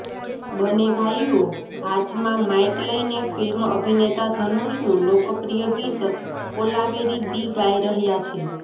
બંને ભાઈઓ હાથમાં માઇક લઈને ફિલ્મ અભિનેતા ઘનુષનું લોકપ્રિય ગીત કોલાવેરી ડી ગાઈ રહ્યા છે